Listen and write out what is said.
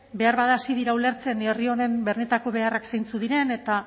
beharbada hasi dira ulertzen herri honen benetako beharrak zeintzuk diren eta